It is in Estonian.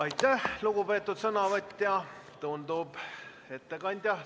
Aitäh, lugupeetud ettekandja!